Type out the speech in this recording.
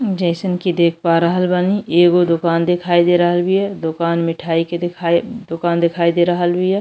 जइसन कि देख पा रहल बानी। एगो दोकान देखाई दे रहल बिया। दोकान मिठाई के दोकान दिखाई दे रहल बिया।